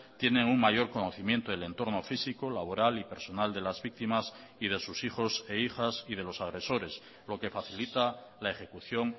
tienen un mayor conocimiento del entorno físico laboral y personal de las víctimas y de sus hijos e hijas y de los agresores lo que facilita la ejecución